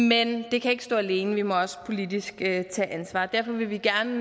men det kan ikke stå alene vi må også politisk tage ansvar derfor vil vi gerne